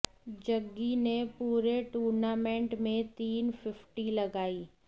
जग्गी ने पूरे टूर्नामेंट में तीन फिफ्टी लगाईं